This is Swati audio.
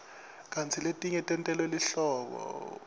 kantsi letinye tentelwe lihlobo